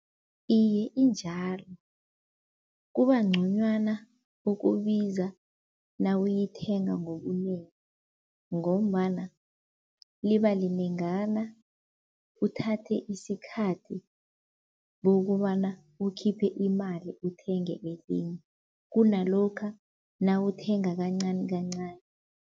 Iye injalo, kuba nconywana ukubiza nawuyithenga ngobunengi ngombana liba linengana. Uthathe isikhathi bokobana ukhiphe imali uthenge elinye, kunalokha nawuthenga kancani kancani.